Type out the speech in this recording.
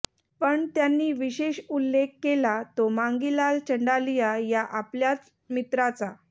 पण त्यांनी विशेष उल्लेख केला तो मांगीलाल चंडालिया या आपल्या मित्राचा